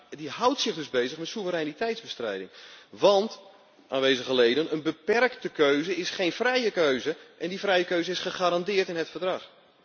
Maar die houdt zich dus bezig met soevereiniteitbestrijding, want aanwezige leden, een beperkte keuze is geen vrije keuze en die vrije keuze is gegarandeerd in het Verdrag.